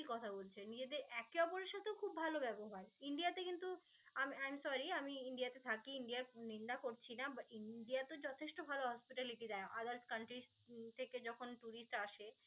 কথা বলছে, নিজেদের একে অপরের সাথেও খুব ভাল ব্যবহার. ইন্ডিয়াতে কিন্তু I'm sorry আমি ইন্ডিয়াতে থাকি. আমি ইন্ডিয়ার নিন্দা করছি না. বা~ ইন্ডিয়া তো যথেষ্ট ভাল hospitality দেয় others countries থেকে যখন tourist আসে.